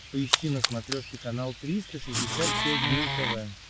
поищи на смотрешке канал триста шестьдесят пять дней тв